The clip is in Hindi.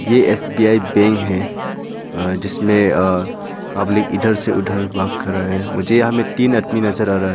ये सी_बी_आई बैंक है अ जिसमें अ पब्लिक इधर से उधर वॉक कर रहा है मुझे यहां में तीन आदमी नजर आ रहा है।